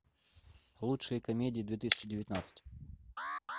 лучшие комедии две тысячи девятнадцать